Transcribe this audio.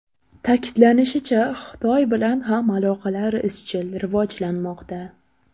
Ta’kidlanishicha, Xitoy bilan ham aloqalar izchil rivojlanmoqda.